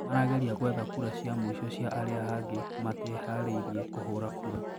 Marageria gũetha kura cia mwisho cia aria hangi matiehariirie kũhũra kura